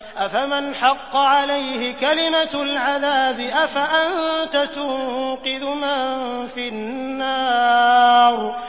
أَفَمَنْ حَقَّ عَلَيْهِ كَلِمَةُ الْعَذَابِ أَفَأَنتَ تُنقِذُ مَن فِي النَّارِ